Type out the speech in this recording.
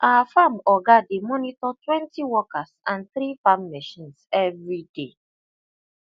our farm oga dey monitor twenty workers and three farm machines every day